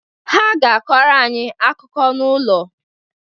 Ha ga-akọrọ anyị akụkọ n’ụlọ